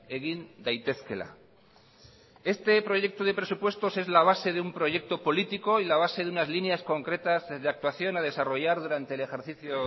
egin daitezkeela este proyecto de presupuesto es la base de un proyecto político y la base de unas líneas concretas de actuación a desarrollar durante el ejercicio